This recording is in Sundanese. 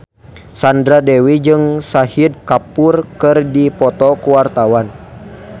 Sandra Dewi jeung Shahid Kapoor keur dipoto ku wartawan